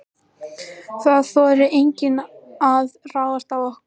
Það þorði enginn að ráðast á okkur.